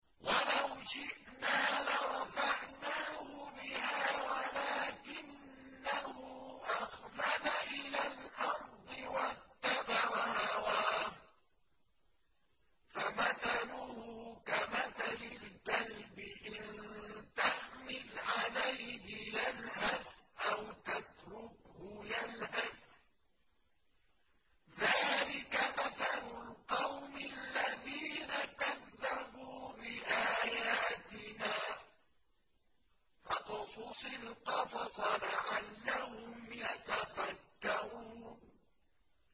وَلَوْ شِئْنَا لَرَفَعْنَاهُ بِهَا وَلَٰكِنَّهُ أَخْلَدَ إِلَى الْأَرْضِ وَاتَّبَعَ هَوَاهُ ۚ فَمَثَلُهُ كَمَثَلِ الْكَلْبِ إِن تَحْمِلْ عَلَيْهِ يَلْهَثْ أَوْ تَتْرُكْهُ يَلْهَث ۚ ذَّٰلِكَ مَثَلُ الْقَوْمِ الَّذِينَ كَذَّبُوا بِآيَاتِنَا ۚ فَاقْصُصِ الْقَصَصَ لَعَلَّهُمْ يَتَفَكَّرُونَ